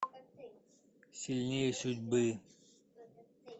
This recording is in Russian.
сильнее судьбы